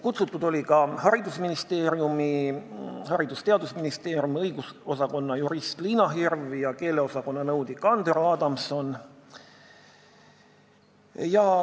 Kutsutud olid ka Haridus- ja Teadusministeeriumi õigusosakonna jurist Liina Hirv ja keeleosakonna nõunik Andero Adamson.